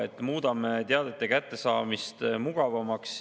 Me muudame teadete kättesaamise mugavamaks.